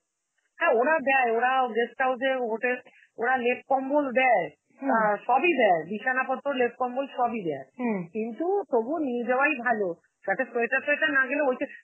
হ্যাঁ ওরা দেয়, ওরা guest house এ ওদের, ওরা লেপ কম্বল দেয় আ সবই দেয়, বিছানাপত্র লেপ-কম্বল সবই দেয় কিন্তু তবুও নিয়ে যাওয়াই ভালো, সাথে sweater টয়েটার না গেলে ওইটা~